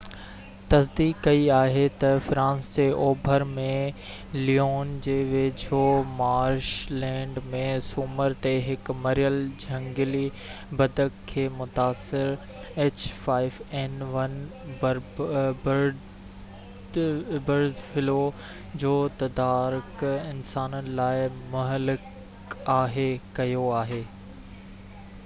bird flu جو تدارڪ انسانن لاءِ مهلڪ آهي، h5n1، تصديق ڪئي آهي تہ فرانس جي اوڀر ۾ ليون جي ويجهو مارش لينڊ ۾ سومر تي هڪ مريل جهنگلي بدڪ کي متاثر ڪيو آهي